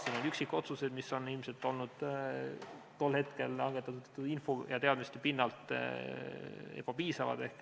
Siin on üksikotsuseid, mis on ilmselt olnud tol hetkel langetatud info ja teadmiste pinnalt ebapiisavad.